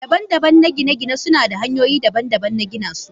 Daban-daban na gine-gine suna da hanyoyi daban-daban na gina su